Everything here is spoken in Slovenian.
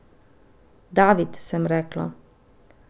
David, sem rekla.